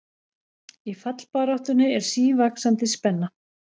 Í fallbaráttunni er sívaxandi spenna